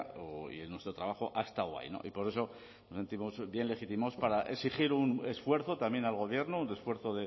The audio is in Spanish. y nuestro trabajo ha estado ahí y por eso nos sentimos bien legitimados para exigir un esfuerzo también al gobierno un esfuerzo